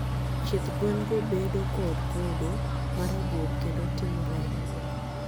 Chieth gwen go bedo kod kodo ma rabuor kendo timo remo